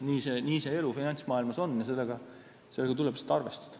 Nii see elu finantsmaailmas käib ja sellega tuleb lihtsalt arvestada.